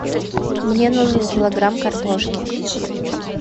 мне нужен килограмм картошки